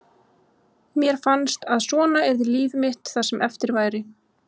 Mér fannst að svona yrði líf mitt það sem eftir væri.